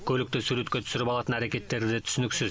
көлікті суретке түсіріп алатын әрекеттері де түсініксіз